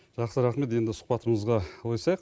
жақсы рахмет енді сұхбатымызға ойысайық